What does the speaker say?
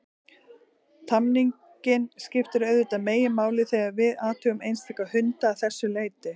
Tamningin skiptir auðvitað meginmáli þegar við athugum einstaka hunda að þessu leyti.